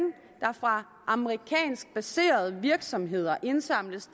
der fra amerikansk baserede virksomheder indsamles